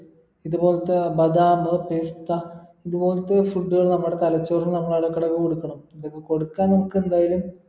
ഇതുപോലത്തെ ബദാം പിസ്ത ഇത് പോലത്തെ food കൾ നമ്മടെ തലച്ചോറിന് നമ്മൾ ഇടക്കിടക്കെ കൊടുക്കണം ഇതൊക്കെ കൊടുക്കാൻ നമുക്ക് എന്തായാലും